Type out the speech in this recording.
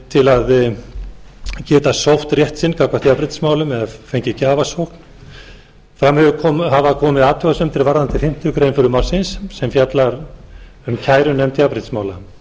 til að geta sótt rétt sinn gagnvart jafnréttismálum eða fengið gjafsókn fram hafa komið athugasemdir varðandi fimmtu grein frumvarpsins sem fjallar um kærunefnd jafnréttismála